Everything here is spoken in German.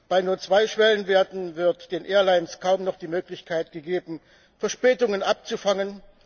Bei nur zwei Schwellenwerten wird den Airlines kaum noch die Möglichkeit gegeben, Verspätungen abzufangen.